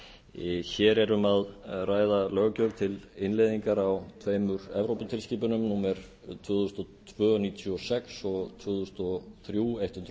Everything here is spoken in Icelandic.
stjórnarfrumvarp hér er um að ræða löggjöf til innleiðingar á tveimur evróputilskipunum númer tvö þúsund og tvö níutíu og sex e b og tvö þúsund og þrjú hundrað